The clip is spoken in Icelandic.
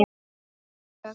Og kökur.